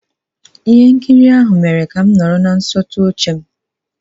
Ihe nkiri ahụ mere ka m nọrọ na nsọtụ oche m.